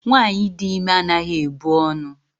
Nwaanyị dị ime anaghị ebu ọnụ.